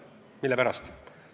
Mille pärast?